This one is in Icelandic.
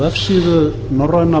vefsíðu norræna